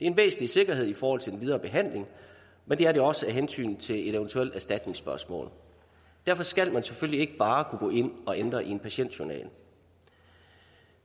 en væsentlig sikkerhed i forhold til den videre behandling men det er det også af hensyn til et eventuelt erstatningsspørgsmål derfor skal man selvfølgelig ikke bare kunne gå ind at ændre i en patientjournal